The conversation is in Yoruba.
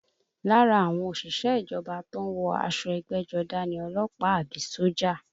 Lára àwọn òṣìṣẹ́ ìjọba tó ń wọ aṣọ ẹgbẹ́jọdá ni ọlọ́pàá àbí sójà